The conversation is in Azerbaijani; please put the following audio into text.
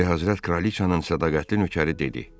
Ülyahəzrət Kralıçanın sədaqətli nökəri dedi: